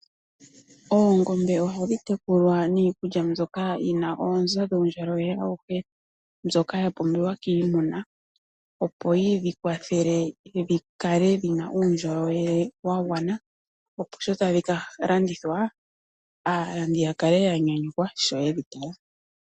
Oongombe ohadhi tekulwa niikulya mbyoka yi na oonzo dhuundjolowele auhe mbyoka ya pumbiwa kiimuna, opo yi dhi kwathele dhi kale dhi na uundjolowele wa gwana, opo shi tadhi ka landithwa aalandi ya kale ya nyanyukwa sho ye dhi tala.